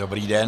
Dobrý den.